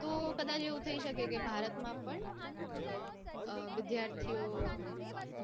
તો કદાચ એવું થઇ શકે ભારતમાં પણ અઅ વિદ્યાર્થીઓ